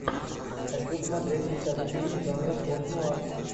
хочу смотреть сейчас фильм жанра постнуар